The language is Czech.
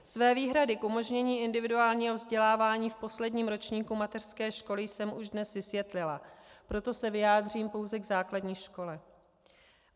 Své výhrady k umožnění individuálního vzdělávání v posledním ročníku mateřské školy jsem už dnes vysvětlila, proto se vyjádřím pouze k základní škole.